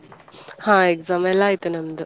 ಹಾ exam ಎಲ್ಲ ಆಯ್ತು ನಮ್ದು.